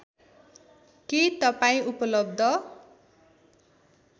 के तपाईँ उपलब्ध